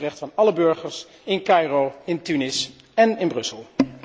Dat is het recht van alle burgers, in Caïro, in Tunis en in Brussel.